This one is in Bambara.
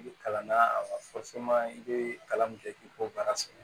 I bɛ kalan na a i bɛ kalan min kɛ k'i kɔ baara sɛgɛn